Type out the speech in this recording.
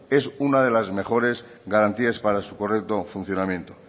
es una de las mejores garantías para su correcto funcionamiento